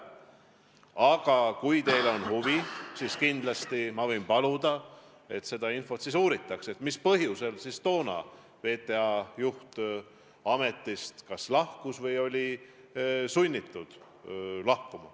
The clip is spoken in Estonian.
Aga kui teil on huvi, siis ma võin paluda, et uuritaks, mis põhjusel toonane VTA juht ametist lahkus või oli sunnitud lahkuma.